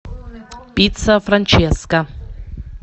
пицца франческа